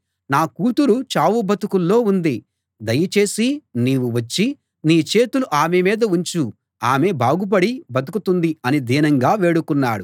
నా కూతురు చావు బతుకుల్లో ఉంది దయచేసి నీవు వచ్చి నీ చేతులు ఆమె మీద ఉంచు ఆమె బాగుపడి బతుకుతుంది అని దీనంగా వేడుకున్నాడు